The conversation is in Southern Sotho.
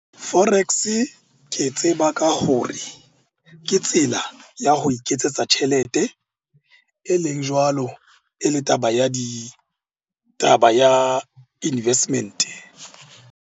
Forex ke e tseba ka hore ke tsela ya ho iketsetsa tjhelete e leng jwalo e le taba ya di, taba ya investment-e.